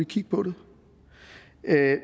kigge på det